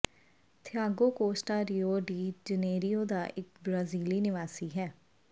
Thiago Costa Rio de Janeiro ਦਾ ਇੱਕ ਬ੍ਰਾਜ਼ੀਲੀ ਨਿਵਾਸੀ ਹੈ